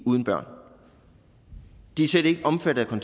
uden børn de er slet ikke omfattet af